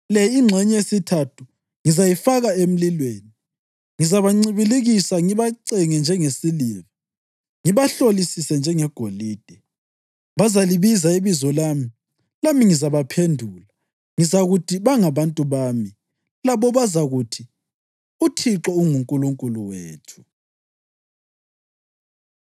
Le ingxenye yesithathu ngizayifaka emlilweni; ngizabancibilikisa ngibacenge njengesiliva ngibahlolisise njengegolide. Bazalibiza ibizo lami, lami ngizabaphendula; ngizakuthi, ‘Bangabantu bami,’ labo bazakuthi, ‘ UThixo unguNkulunkulu wethu.’ ”